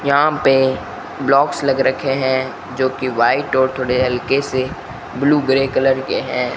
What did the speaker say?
यहां पे ब्लॉक्स लग रखे हैं जो कि व्हाइट और थोड़े हलके से ब्लू ग्रे कलर के हैं।